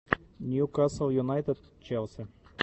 ньюкасл юнайтед челси